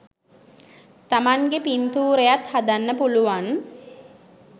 තමන්ගෙ පින්තූරයත් හදන්න පුළුවන්